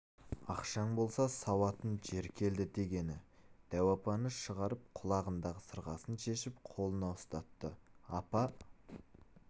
ақшаң болса сауатын жер келді дегені дәу апаны шығарып құлағындағы сырғасын шешіп қолына ұстатты апа